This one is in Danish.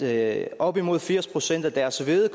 at op imod firs procent af deres hvede